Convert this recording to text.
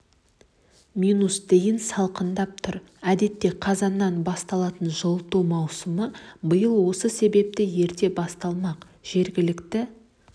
минус дейін салқындап тұр әдетте қазаннан басталатын жылыту маусымы биыл осы себепті ерте басталмақ жергілікті